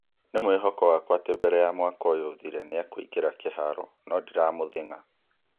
" Nĩ mwĩhoko wakwa atĩ mbere ya mwaka ũyũ ũthire nĩ e-kũingĩra kĩharo, no ndiramũthĩng'a.